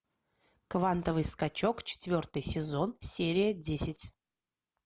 квантовый скачок четвертый сезон серия десять